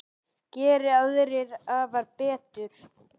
Geri aðrir afar betur.